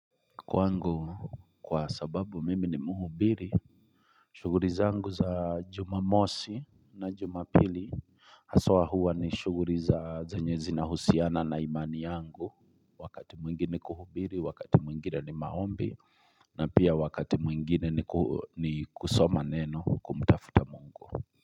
Kwangu kwa sababu mimi ni muhubiri shughuli zangu za jumamosi na jumapili haswa huwa ni shughuli za zenye zinahusiana na imani yangu Wakati mwingine ni kuhubiri, wakati mwingine ni maombi na pia wakati mwingine ni kusoma neno kumtafuta mungu.